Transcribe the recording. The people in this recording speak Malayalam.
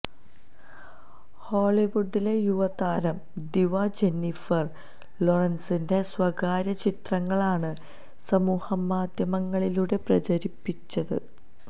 ഹോളിവുഡിലെ യുവ താരം ദിവ ജെന്നിഫര് ലോറന്സിന്റെ സ്വകാര്യ ചിത്രങ്ങളാണ് സമൂഹ മാധ്യമങ്ങളിലൂടെ പ്രചരിപ്പിച്ചത്